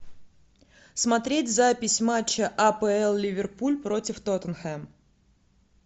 смотреть запись матча апл ливерпуль против тоттенхэм